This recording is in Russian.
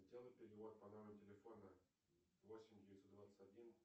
сделай перевод по номеру телефона восемь девятьсот двадцать один